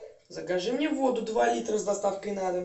закажи мне воду два литра с доставкой на дом